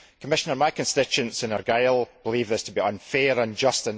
Commissioner, my constituents in Argyll believe this to be unfair and unjust